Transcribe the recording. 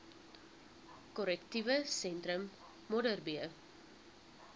korrektiewe sentrum modderbee